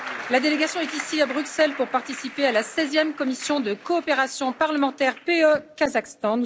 La délégation est ici à Bruxelles pour participer à la 16e commission de coopération parlementaire PE Kazakhstan.